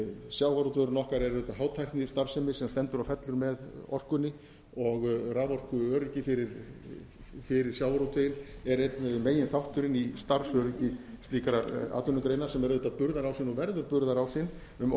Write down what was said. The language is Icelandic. sjávarútvegurinn okkar er auðvitað hátæknistarfsemi sem stendur og fellur með orkunni og raforkuöryggi fyrir sjávarútveginn er einn meginþátturinn í starfsöryggi slíkrar atvinnugreinar sem er auðvitað burðarásinn verður burðarásinn um